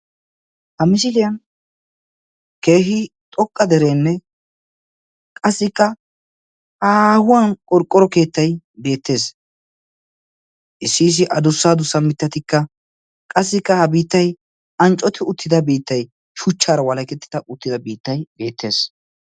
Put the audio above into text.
Ha misiliyan keehi xoqqa dereenne qassikka haahuwan qorqqoro keettay beettees. Issi issi adussa adussa mittatikka Qassikka ha biittay anccoti uttida biittay shuchchaara walketida uttida biittay beettees.